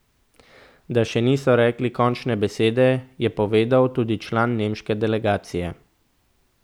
Da še niso rekli končne besede, je povedal tudi član nemške delegacije.